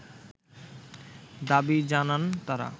দাবি জানান তারা